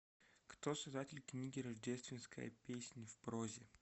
кто создатель книги рождественская песнь в прозе